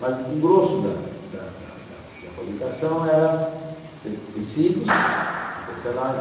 Mas o grosso da da da da fabricação era te tecidos, tecelagem,